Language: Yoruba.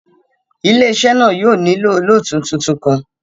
Ile-iṣẹ náa yóò nilo olootu tuntun kan